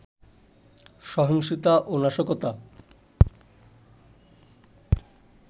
সহিংসতা ও নাশকতা